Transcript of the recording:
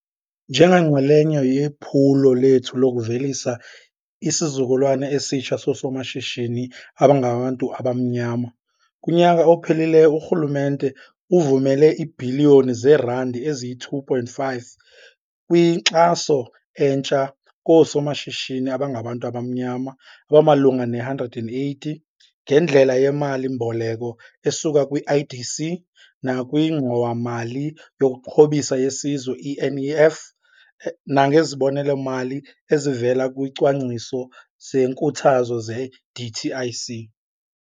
Njenganxalenye yephulo lethu lokuvelisa isizukulwana esitsha soosomashishini abangabantu abamnyama, kunyaka ophelileyo urhulumente uvumele iibhiliyoni zeerandi eziyi-2.5 kwinkxaso entsha koosomashishini abangabantu abamnyama abamalunga ne-180 ngendlela yemali-mboleko esuka kwi-IDC nakwiNgxowa-mali yokuXhobisa yeSizwe, i-NEF, nangezibonelelo-mali ezivela kwisicwangciso senkuthazo se-DTIC.